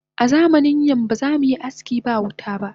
Azamanin nan ba zamuyi aski ba wuta ba